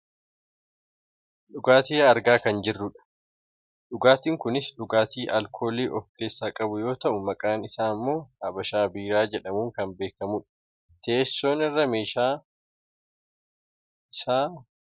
Dhugaatii argaa kan jirrudha. Dhugaatiin kunis dhugaatii alkoolii of keessaa qabu yoo ta'u maqaan isaa ammoo habashaa biiraa jedhamuun kan beekkamudha. Teessoo irra meeshaa isaa keessa taa'ee kan jiruufi qadaaddamee kan jirudha.